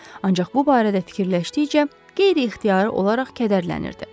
Ancaq bu barədə fikirləşdikcə qeyri-ixtiyari olaraq kədərlənirdi.